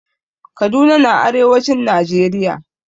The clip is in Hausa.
Kaduna na arewacin najeriya